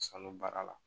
Sanu baara la